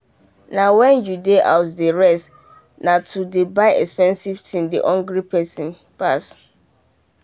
na wen you dey house dey rest na to dey buy expensive things dey hungry person pass.